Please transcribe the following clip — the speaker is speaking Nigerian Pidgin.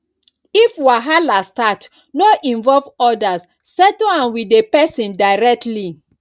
if wahala start no involve others settle am with the person directly